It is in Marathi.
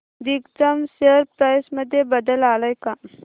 दिग्जाम शेअर प्राइस मध्ये बदल आलाय का